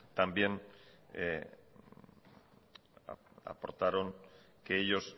también aportaron que ellos